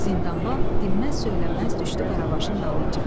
Zindanban dinməz söyləməz düşdü Qaravaşın dalınca.